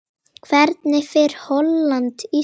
Hvernig fer Holland- Ísland?